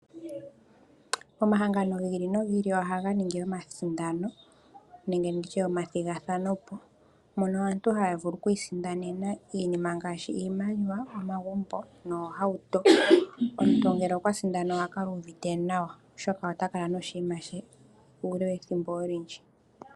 Omahangano giili nogiili ohaga ningi omasindano, nenge nditye omathigathano mono aantu haya vulu oku isindanena iinima ngaashi iimaliwa, omagumbo, noohauto. Omuntu ngele okwa sindana oha kala uuvite nawa, oshoka ota kala noshiima she uule wethimbo olindji.